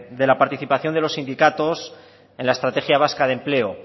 de la participación de los sindicatos en la estrategia vasca de empleo